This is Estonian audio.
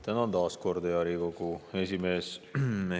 Tänan taas, hea Riigikogu esimees!